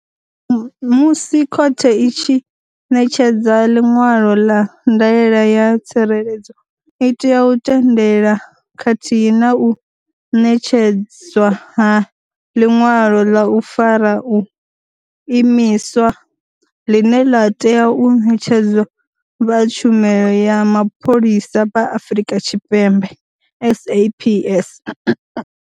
Musi khothe i tshi ṋetshedza ḽiṅwalo ḽa ndaela ya tsireledzo i tea u tendela khathihi na u ṋetshedzwa ha ḽiṅwalo ḽa u fara, u imiswa, ḽine ḽa tea u ṋetshedzwa vha tshumelo ya mapholisa vha Afrika Tshipembe, SAPS.